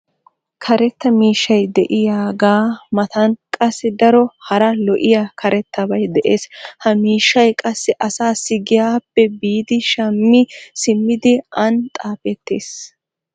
karetta miishshay diyagaa matan qassi daro hara lo'iya karettabay des. ha miishshay qassi asaassi giyaappe biidi shammi simmidi an xaafeetees.